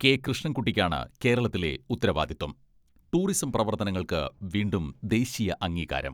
കെ.കൃഷ്ണൻകുട്ടിക്കാണ് കേരളത്തിലെ ഉത്തരവാദിത്വം ടൂറിസം പ്രവർത്തനങ്ങൾക്ക് വീണ്ടും ദേശീയ അംഗീകാരം.